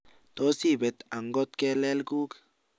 toos ipet angot kelek kuug